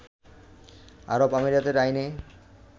আরব আমিরাতের আইনে